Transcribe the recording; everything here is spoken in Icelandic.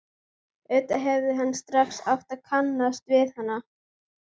Auðvitað hefði hann strax átt að kannast við hana.